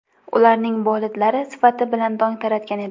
Ularning bolidlari sifati bilan dong taratgan edi.